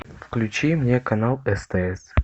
включи мне канал стс